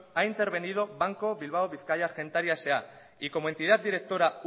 ha intervenido banco bilbao vizcaya argentaria sa y como entidad directora